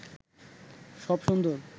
সব সুন্দর